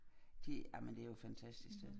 De ej men det jo et fantastisk sted